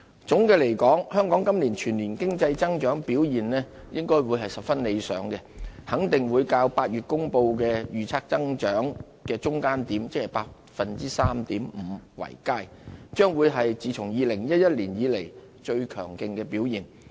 總的來說，香港今年全年經濟增長表現應該會十分理想，肯定會較在8月公布的預測增長的中間點，即是 3.5% 為佳，將會是自從2011年以來最強勁的表現。